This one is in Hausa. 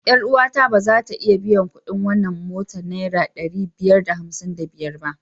Yar uwata ba za ta iya biyan kuɗin wannan mota naira ɗari biyar da hamsin da biyar ba.